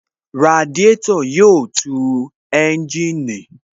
Radiátò yóò tu ẹ́ńjìnì